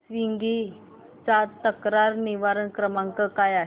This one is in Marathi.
स्वीग्गी चा तक्रार निवारण क्रमांक काय आहे